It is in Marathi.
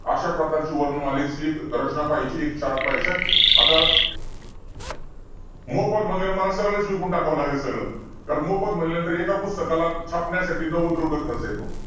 अशा प्रकारची वर्णमालेची एक रचना पहायची आहे. Chart पहायचा आहे. आता, मोफत म्हंटल्यावर मला सगळच विकून टाकावं लागेल सगळं. कारण मोफत म्हंटल कि एका पुस्तकाला छापण्यासाठी नव्वद रुपये खर्च येतो.